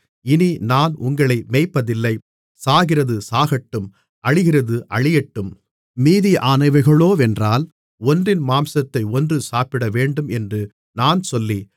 இனி நான் உங்களை மேய்ப்பதில்லை சாகிறது சாகட்டும் அழிகிறது அழியட்டும் மீதியானவைகளோவென்றால் ஒன்றின் மாம்சத்தை ஒன்று சாப்பிடவேண்டும் என்று நான் சொல்லி